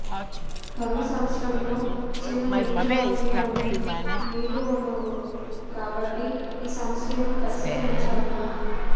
కరు వు సంవత్సరంలో చిన్న నీటి వనరుల్లోనూ నీళ్లు ఉండవు కాబట్టి ఈసమస్యను పరిష్కరించాలి